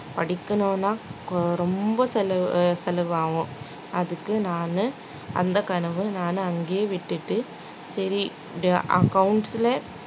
படிக்கணும்னா கொ~ ரொம்ப செலவு செலவு ஆகும் அதுக்கு நானு அந்த கனவு நானு அங்கையே விட்டுட்டு சரி இது accounts ல